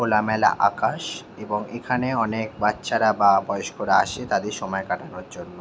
খোলামেলা আকাশ এবং এখানে অনেক বাচ্চারা বা বয়স্করা আসে তাদের সময় কাটানোর জন্য ।